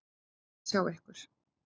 Gaman að sjá ykkur.